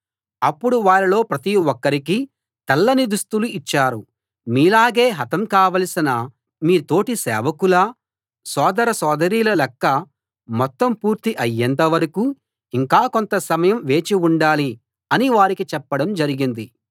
అప్పుడు వారిలో ప్రతి ఒక్కరికీ తెల్లని దుస్తులు ఇచ్చారు మీలాగే హతం కావాల్సిన మీ తోటి సేవకుల సోదర సోదరీల లెక్క మొత్తం పూర్తి అయేంతవరకూ ఇంకా కొంత సమయం వేచి ఉండాలి అని వారికి చెప్పడం జరిగింది